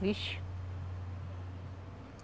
Vixe!